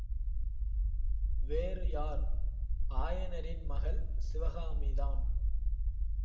வேறு யார் ஆயனரின் மகள் சிவகாமிதான்